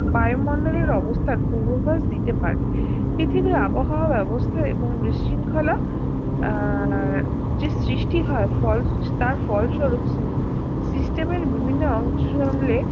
বায়ুমণ্ডলের অবস্থান পুর্বভাষ দিতে পারে পৃথিবীর আবহাওয়ার অবস্থা এবং বিশৃঙ্খলা আহ যে সৃষ্টি হয় ফল তার ফলস্বরূপ system এর বিভিন্ন অংশ